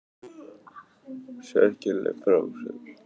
Sérkennileg frásögn